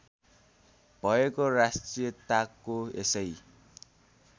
भएको राष्ट्रियताको यसै